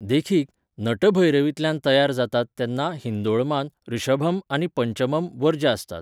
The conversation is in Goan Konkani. देखीक, नटभैरवींतल्यान तयार जातात तेन्ना हिंदोळमांत ऋषभम आनी पंचमम वर्ज्य आसतात.